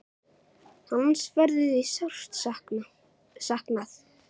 Hans verður því sárt saknað.